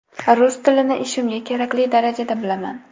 Rus tilini ishimga kerakli darajada bilaman.